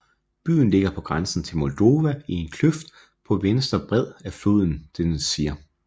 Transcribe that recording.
Byen ligger på grænsen til Moldova i en kløft på venstre bred af floden Dnestr